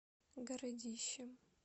городищем